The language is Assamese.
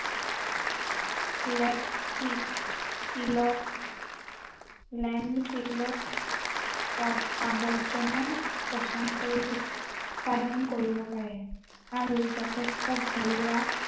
শিলত plan শিলত আৱৰ্জনা পচন কৰি, উৎপাদন কৰিব পাৰে। আৰু যথেষ্ট ঘৰুৱা